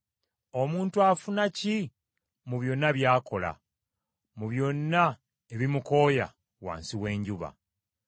Omuntu afuna ki mu byonna by’akola, mu byonna ebimukooya wansi w’enjuba?